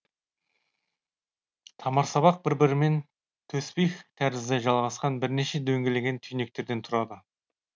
тамырсабақ бір бірімен төсбих тәрізді жалғасқан бірнеше дөңгеленген түйнектерден тұрады